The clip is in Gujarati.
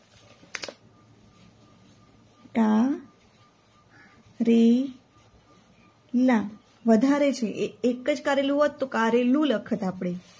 કારેલાં વધારે છે એકજ કરેલું હોત તો કારેલું લખત આપડે